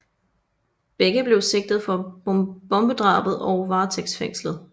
Begge blev sigtet for bombedrabet og varetægtsfængslet